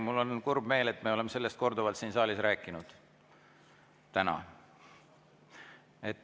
Mul on kurb meel, me oleme sellest korduvalt täna siin saalis rääkinud.